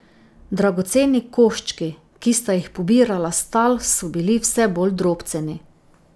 Dragoceni koščki, ki sta jih pobirala s tal, so bili vse bolj drobceni.